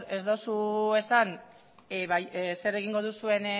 ez duzu esan zer egingo duzuen